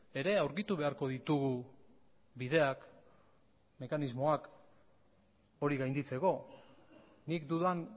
ere aurkitu beharko ditugu bideak mekanismoak hori gainditzeko nik dudan